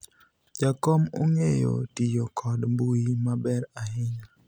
jakom ong'eyo tiyo kod mbui maber ahinya